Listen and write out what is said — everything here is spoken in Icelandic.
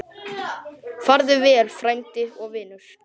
Farðu vel, frændi og vinur.